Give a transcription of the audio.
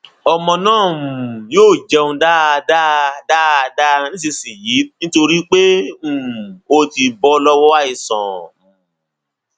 ọmọ náà um yóò jẹun dáadáa dáadáa nísinsinyìí nítorí pé um ó ti bọ lọwọ àìsàn um